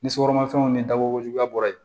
Ni sukaromafɛnw ni dabɔkojuguya bɔra yen